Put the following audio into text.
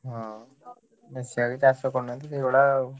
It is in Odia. ହଁ ବେଶି ଗୁଡା ଚାଷ କରୁନାହାଁନ୍ତି ସେଇଭଳିଆ ଆଉ।